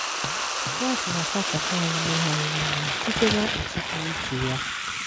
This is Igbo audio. Kraịst na-asachapụ anyị mmehie anyị niile site na mkpuchite pụrụ iche Ya.